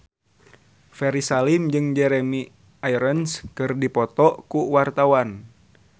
Ferry Salim jeung Jeremy Irons keur dipoto ku wartawan